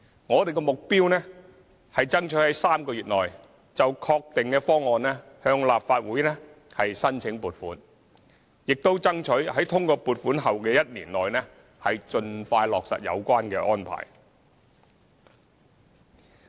我們的目標是爭取在3個月內就確定的方案向立法會申請撥款，亦爭取在通過撥款後的1年內盡快落實有關安排。